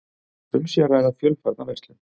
Um sé að ræða fjölfarna verslun